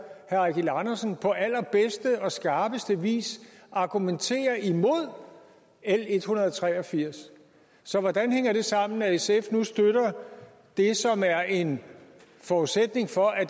eigil andersen på allerbedste og skarpeste vis argumentere imod l en hundrede og tre og firs så hvordan hænger det sammen at sf nu støtter det som er en forudsætning for at